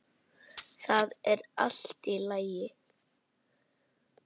Það er allt í lagi.